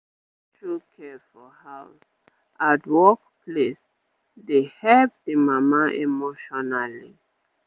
make dem show care for house ad work place dey help the mama emotionally